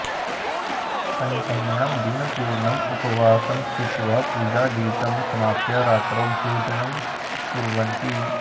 पञ्चम्यां दिनपूर्णम् उपवासं स्थित्वा पूजादिकं समाप्य रात्रौ भोजनं कुर्वन्ति